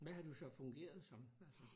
Hvad har du så fungeret som altså